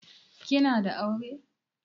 Kina da aure?